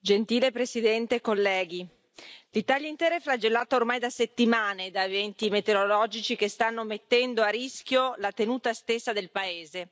Signora Presidente, onorevoli colleghi, l'Italia intera è flagellata ormai da settimane da eventi meteorologici che stanno mettendo a rischio la tenuta stessa del paese.